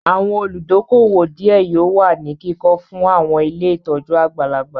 Àwọn olùdókóówò díẹ̀ yóò wà ní kíkọ fún àwọn ilé ìtọ́jú àgbàlagbà